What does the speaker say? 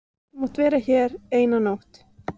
Þú mátt vera hér eina nótt.